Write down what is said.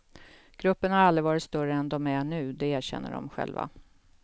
Gruppen har aldrig varit större än de är nu, det erkänner de själva.